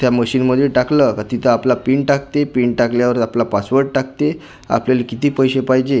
त्या मशीनमध्ये टाकलं का तिथे आपला पिन टाकते पिन टाकल्यावर आपला पासवर्ड टाकते आपल्याला किती पैसे पाहिजे ते--